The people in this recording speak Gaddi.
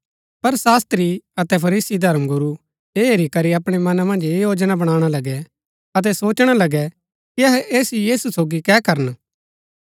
पर शास्त्री अतै फरीसी धर्मगुरू ऐ हेरी करी अपणै मना मन्ज ऐह योजना बणाणा लगै अतै सोचणा लगै कि अहै ऐस यीशु सोगी कै करन